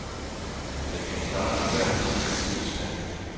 Den kan klare ethvert bid af tidens tand.